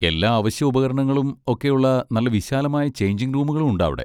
എല്ലാ അവശ്യ ഉപകരണങ്ങളും ഒക്കെയുള്ള നല്ല വിശാലമായ ചെയ്ഞ്ചിങ് റൂമുകളുണ്ട് അവിടെ.